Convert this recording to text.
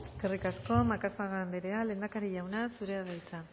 eskerrik asko macazaga andrea lehendakari jauna zurea da hitza